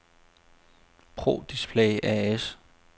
Pro Display A/S